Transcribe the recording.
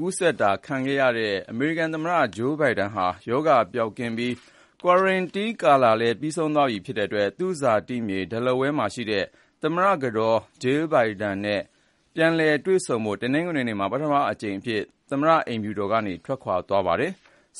ူးစက်တာခံခဲ့ရတဲ့ အမေရိကန်သမ္မတ Joe Biden ဟာ ရောဂါပျောက်ကင်းပြီး သီးသန့်ခွဲနေထိုင်ရတဲ့ ကာလလည်း ပြီးဆုံးသွားလို့ သူ့ဇာတိမြေ Delaware မှာရှိတဲ့ သမ္မတကတော် Jill Biden နဲ့ ပြန်လည် တွေ့ဆုံဖို့ တနင်္ဂနွေနေ့က ပထမဆုံးအကြိမ်အဖြစ် သမ္မတအိမ်ဖြူတော်ကနေ ထွက်ခွာ သွားပါတယ်။